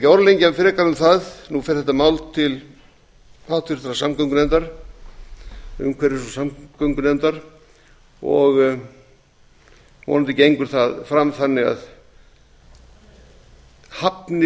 orðlengja frekar um það nú fer þetta mál til háttvirtrar umhverfis og samgöngunefndar og vonandi gengur það fram þannig að hafnir